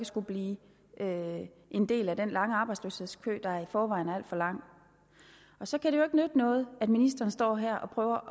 blive en del af den lange arbejdsløshedskø der i forvejen er al for lang og så kan det jo ikke nytte noget at ministeren står her og prøver